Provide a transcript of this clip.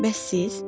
Bəs siz?